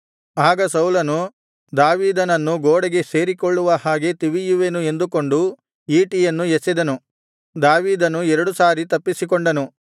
ಆಗ ಸೌಲನು ದಾವೀದನನ್ನು ಗೋಡೆಗೆ ಸೇರಿಕೊಳ್ಳುವ ಹಾಗೆ ತಿವಿಯುವೆನು ಎಂದುಕೊಂಡು ಈಟಿಯನ್ನು ಎಸೆದನು ದಾವೀದನು ಎರಡು ಸಾರಿ ತಪ್ಪಿಸಿಕೊಂಡನು